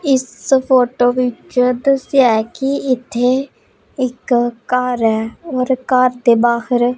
ਇਸ ਫੋਟੋ ਵਿੱਚ ਤੁਸੀਂ ਹੈ ਕਿ ਇੱਥੇ ਇੱਕ ਘਰ ਹੈ ਔਰ ਘਰ ਦੇ ਬਾਹਰ --